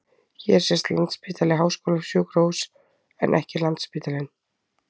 Hér sést Landspítali- háskólasjúkrahús en ekki Landsspítalinn.